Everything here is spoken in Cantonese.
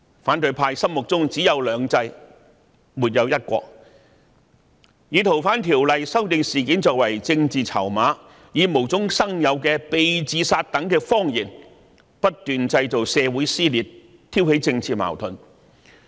反對派心目中只有"兩制"，沒有"一國"，他們以修訂《逃犯條例》一事作為政治籌碼，以無中生有的"被自殺"等謊言不斷製造社會撕裂，挑起政治矛盾。